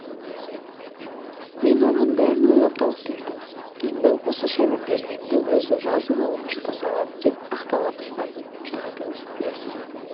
мен оған бәрін ойлап тауып бердім енді осы шайнап бергенімді өзі жазып алып жұта салады деп ақтала бастады жаратылыс иесі